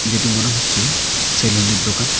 যেটি মনে হচ্ছে সেলুনের দোকান।